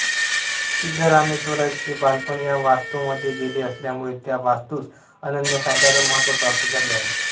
सिद्धरामेश्वरांचे बालपण या वास्तूमध्ये गेले असल्यामुळे त्या वास्तुस अनन्यसाधारण महत्व प्राप्त झाले आहे